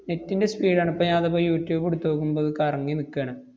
net ന്‍റെ speed ആണ്. ഇപ്പൊ ഞാനതിപ്പോ യൂട്യൂബ് ഇടുത്ത് നോക്കുമ്പോ അത് കറങ്ങി നിക്കാണ്.